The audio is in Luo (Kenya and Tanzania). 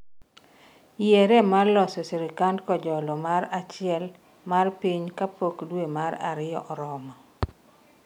yiere mar loso sirikand kojolo mar achiel mar piny kapok dwe mar ariyo oromo